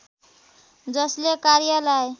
जसले कार्यलाई